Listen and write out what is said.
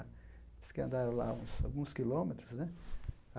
Diz que andaram lá uns alguns quilômetros, né?